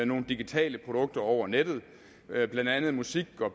nogle digitale produkter over nettet blandt andet musik